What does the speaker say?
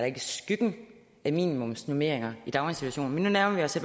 ikke skyggen af minimumsnormeringer i daginstitutionerne men nu nærmer vi os